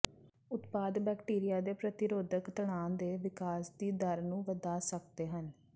ਉਤਪਾਦ ਬੈਕਟੀਰੀਆ ਦੇ ਪ੍ਰਤੀਰੋਧਕ ਤਣਾਅ ਦੇ ਵਿਕਾਸ ਦੀ ਦਰ ਨੂੰ ਵਧਾ ਸਕਦੇ ਹਨ